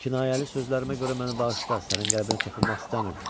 Kinayəli sözlərimə görə məni bağışla, sənin qəlbinə toxunmaq istəmirdim.